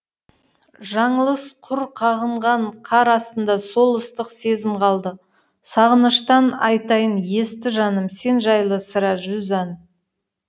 жаңылыс құр қағынғанқар астында сол ыстық сезім қалды сағыныштан айтайынесті жаным сен жайлы сірә жүз ән